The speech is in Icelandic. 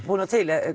búnar til